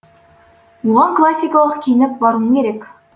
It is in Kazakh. оған классикалық киініп баруың керек